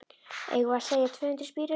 Eigum við að segja tvö hundruð spírur?